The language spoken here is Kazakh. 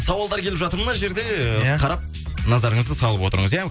сауалдар келіп жатыр мына жерде ы қарап назарыңызды салып отырыңыз иә